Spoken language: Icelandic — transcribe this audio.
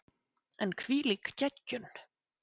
En hvílík geggjun!